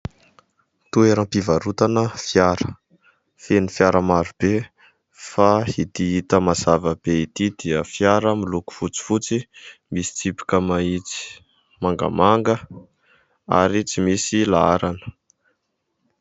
Toeram-pivarotana fiara, feno fiara marobe fa ity hita mazava be ity dia fiara miloko fotsifotsy, misy tsipika mahitsy mangamanga ary tsy misy laharana.